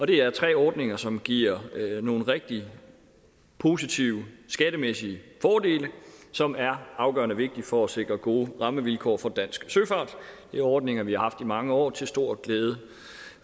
det er tre ordninger som giver nogle rigtig positive skattemæssige fordele som er afgørende vigtige for at sikre gode rammevilkår for dansk søfart det er ordninger vi har haft i mange år til stor glæde